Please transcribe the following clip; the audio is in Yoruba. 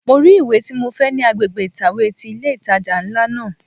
Mo rí ìwé tí mo fẹ́ ní agbègbè ìtàwé ti ilé ìtajà ńlá náà.